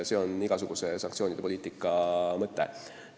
See on igasuguse sanktsioonipoliitika mõte.